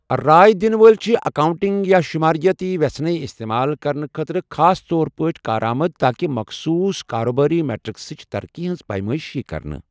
راے دِنہٕ وٲلۍ چھِ اکاؤنٹنگ یا شماریٲتی وٮ۪ژھٕنے استعمال کرنہٕ خٲطرٕ خاص طور پٲٹھۍ کارآمد تاکہ مخصوٗص کارٕبٲری میٹرکسٕچ ترقی ہنٛز پیمٲئش ییہِ کرنہٕ۔